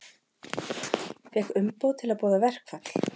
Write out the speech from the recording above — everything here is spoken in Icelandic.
Fékk umboð til að boða verkfall